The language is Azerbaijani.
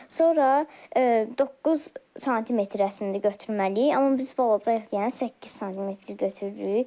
Sonra 9 sm əslində götürməliyik, amma biz balacayıq yəni 8 sm götürürük.